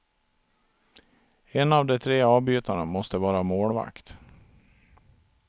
En av de tre avbytarna måste vara målvakt.